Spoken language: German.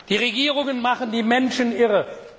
Die Regierungen machen die Menschen irre.